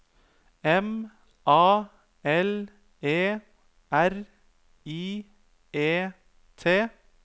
M A L E R I E T